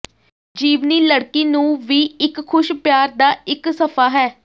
ਜੀਵਨੀ ਲੜਕੀ ਨੂੰ ਵੀ ਇੱਕ ਖੁਸ਼ ਪਿਆਰ ਦਾ ਇੱਕ ਸਫ਼ਾ ਹੈ